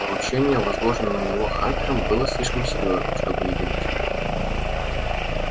поручение возложенное на него хантером было слишком серьёзным чтобы не думать о нем